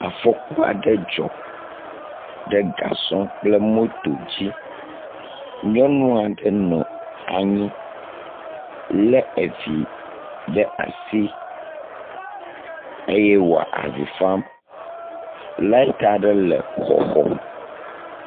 Afɔku aɖe dzɔ ɖe gasɔ kple moto dzi nyɔnu aɖe nɔ anyi le evi ɖe asi eye wo avi fam. Lati aɖe le xɔxɔ.